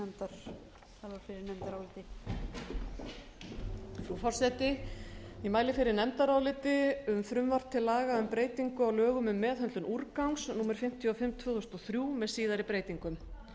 frú forseti ég mæli fyrir nefndaráliti um frumvarp til laga um meðhöndlun úrgangs númer fimmtíu og fimm tvö þúsund og þrjú með síðari breytingum